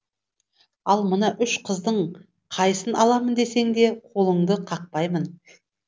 ал мына үш қыздың қайсын аламын десең де қолыңды қақпаймын